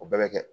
O bɛɛ bɛ kɛ